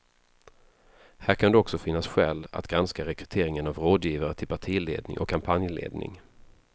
Här kan också finnas skäl att granska rekryteringen av rådgivare till partiledning och kampanjledning.